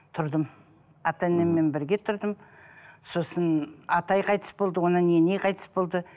тұрдым ата енеммен бірге тұрдым сосын атай қайтыс болды одан кейін ене қайтыс болды